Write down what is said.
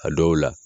A dɔw la